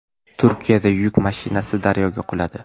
Turkiyada yuk mashinasi daryoga quladi.